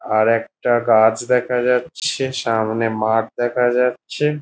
আর একটা গাছ দেখা যাচ্ছে সামনে একটা মাঠ দেখা যাচ্ছে।